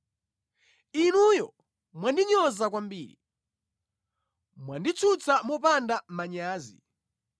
Inuyo mwandinyoza kwambiri; mwanditsutsa mopanda manyazi.